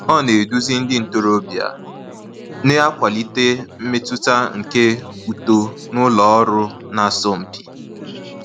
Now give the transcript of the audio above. Ọ na-eduzi ndị ntorobịa, na-akwalite mmetụta nke uto n’ụlọ ọrụ na-asọ mpi.